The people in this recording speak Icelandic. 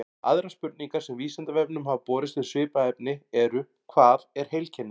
Aðrar spurningar sem Vísindavefnum hafa borist um svipað efni eru: Hvað er heilkenni?